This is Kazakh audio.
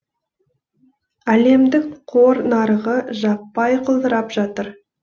әлемдік қор нарығы жаппай құлдырап жатыр